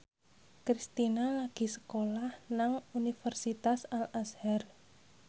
Kristina lagi sekolah nang Universitas Al Azhar